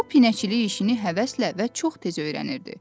O pinəçilik işini həvəslə və çox tez öyrənirdi.